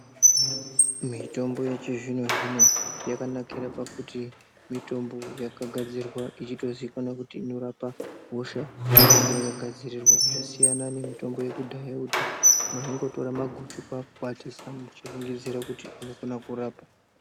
Mitombo yechi zvino zvino yakanakira pakuti mitombo yaka gadzirwa echito ziikanwa kuti inorapa hosha yainenge yaka gadzirirwa zvasiyana ne mitombo yekudhaya yekuti maingo tora maguchu kwaku kwatisa muchi fungidzira kuti unofana kurapa.